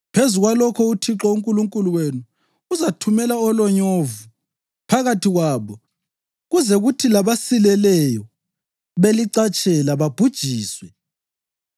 Phezu kwalokho uThixo uNkulunkulu wenu uzathumela olonyovu phakathi kwabo kuze kuthi labasilileyo balicatshela babhujiswe.